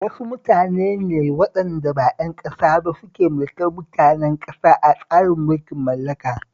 Wasu mutane ne waɗanda ba ƴan ƙasa ba suke mulkar mutanen ƙasa a tsarin mulkin mallaka